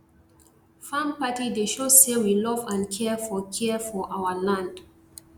farm party dey show say we love and care for care for our land